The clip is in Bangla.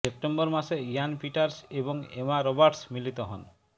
সেপ্টেম্বর মাসে ইয়ান পিটার্স এবং এমা রবার্টস মিলিত হন